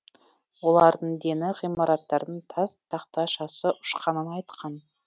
олардың дені ғимараттардың тас тақташасы ұшқанын айтқан